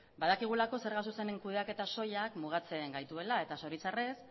badakigulako zerga zuzenen kudeaketa soilak mugatzen gaituela eta zoritzarrez